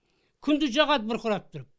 күндіз жағады бұрқырап тұрып